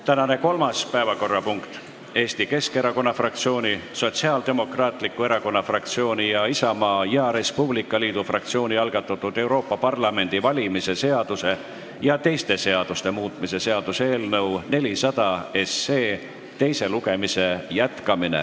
Tänane kolmas päevakorrapunkt on Eesti Keskerakonna fraktsiooni, Sotsiaaldemokraatliku Erakonna fraktsiooni ning Isamaa ja Res Publica Liidu fraktsiooni algatatud Euroopa Parlamendi valimise seaduse ja teiste seaduste muutmise seaduse eelnõu 400 teise lugemise jätkamine.